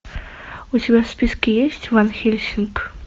у тебя в списке есть ван хельсинг